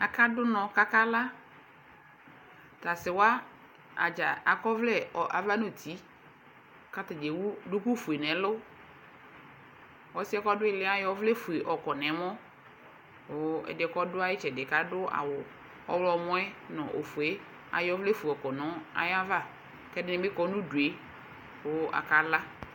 Aka du unɔ ku akla tasiwadza akɔ ɔvlɛ ava ŋuti atani ewu duku oƒue nɛlɛ ɔsiɛ kɔdi iliɛ ayɔ ɔvlɛ ofue nu ɛmɔ ɛdiɛ kɔdu ayitsɛdi kadu awu ɔɣlomɔ ayɔ ɔvlɛ ofue yɔkɔ nu ayava ku ɛdini bi kɔ nu udu ku akala